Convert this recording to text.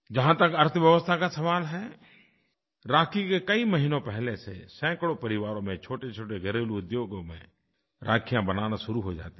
जहाँ तक अर्थव्यवस्था का सवाल है राखी के कई महीनों पहले से सैकड़ों परिवारों में छोटेछोटे घरेलू उद्योगों में राखियाँ बनाना शुरू हो जाती हैं